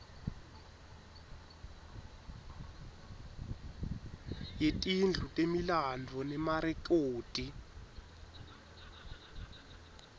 yetindlu temilandvo nemarekhodi